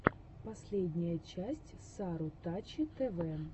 последняя часть сарутачи тэвэ